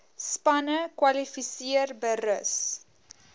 spanne kwalifiseer berus